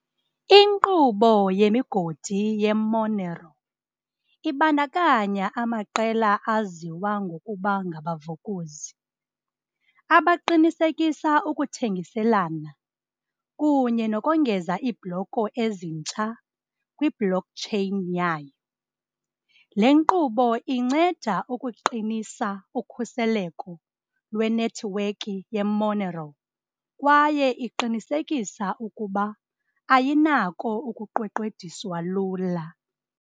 Inkqubo yemigodi ye-Monero ibandakanya amaqela aziwa ngokuba ngabavukuzi, abaqinisekisa ukuthengiselana kunye nokongeza iibhloko ezintsha kwi-blockchain yayo. Le nkqubo inceda ukuqinisa ukhuseleko lwenethiwekhi ye-Monero kwaye iqinisekisa ukuba ayinako ukuqweqwediswa lula.